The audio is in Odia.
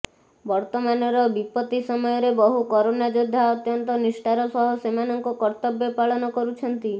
ବର୍ତ୍ତମାନର ବିପତ୍ତି ସମୟରେ ବହୁ କରୋନା ଯୋଦ୍ଧା ଅତ୍ୟନ୍ତ ନିଷ୍ଠାର ସହ ସେମାନଙ୍କ କର୍ତ୍ତବ୍ୟ ପାଳନ କରୁଛନ୍ତି